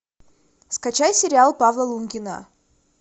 скачай сериал павла лунгина